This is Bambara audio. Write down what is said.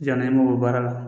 Janni an mago bɛ baara la